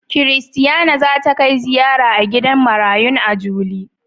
Christiana za ta kai ziyara a gidan marayun a juli.